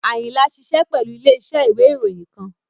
Ayinla ṣiṣẹ pẹlu ile-iṣẹ iwe iroyin kan